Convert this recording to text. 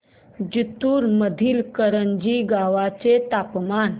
जिंतूर मधील करंजी गावाचे तापमान